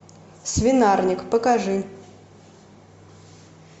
свинарник покажи